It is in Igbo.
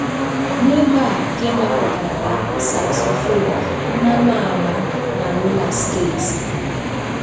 N'ebe a, ka e mepụtara ya, saxophone, mmanụ agba na roller skati.